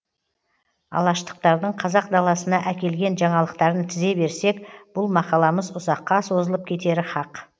алаштықтардың қазақ даласына әкелген жаңалықтарын тізе берсек бұл мақаламыз ұзаққа созылып кетері хақ